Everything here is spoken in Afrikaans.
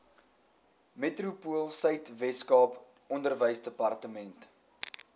metropoolsuid weskaap onderwysdepartement